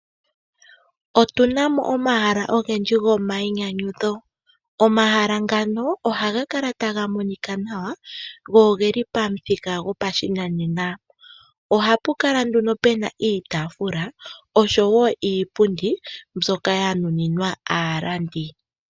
Otuna omahala ogendji gomayinyanyudho. Omahala ngano ohaga kala taga monika nawa go ogeli pamuthika gopashinanena. Ohapu kala nduno pena iitaafula oshowo iipundi mbyoka yanuninwa aalandi.